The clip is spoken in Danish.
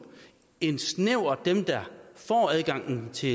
end snævert dem der får adgang til